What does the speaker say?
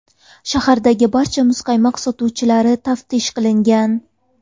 Shahardagi barcha muzqaymoq sotuvchilar taftish qilingan.